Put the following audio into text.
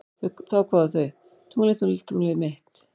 Þá kváðu þau: Tunglið, tunglið, tunglið mitt